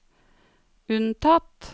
unntatt